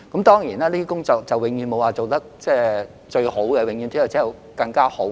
當然，就這些工作而言，永遠沒有最好，只有更好。